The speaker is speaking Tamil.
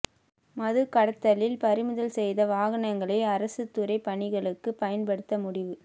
மதுக் கடத்தலில் பறிமுதல் செய்த வாகனங்களை அரசுத் துறை பணிகளுக்குப் பயன்படுத்த முடிவு